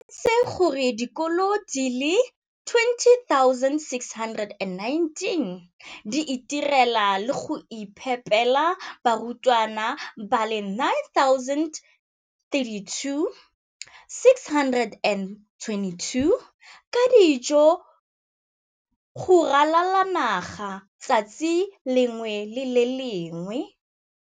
O tlhalositse gore dikolo di le 20 619 di itirela le go iphepela barutwana ba le 9 032 622 ka dijo go ralala naga letsatsi le lengwe le le lengwe.